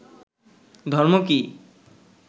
ধর্ম কী